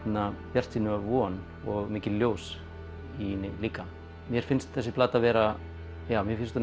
bjartsýni og von og mikið ljós í líka mér finnst þessi plata vera mér finnst hún